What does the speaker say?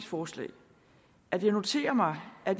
forslag at jeg noterer mig at